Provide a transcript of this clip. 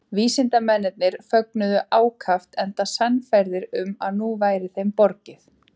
Vísindamennirnir fögnuðu ákaft enda sannfærðir um að nú væri þeim borgið.